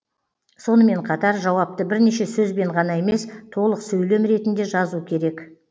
сонымен қатар жауапты бірнеше сөзбен ғана емес толық сөйлем ретінде жазу керек